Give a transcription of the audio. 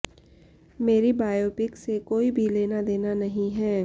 मेरी बायोपिक से कोई भी लेना देना नहीं है